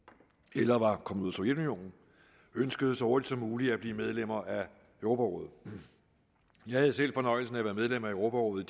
eller var kommet ud af sovjetunionen ønskede så hurtigt som muligt at blive medlemmer af europarådet jeg havde selv fornøjelsen af at være medlem af europarådet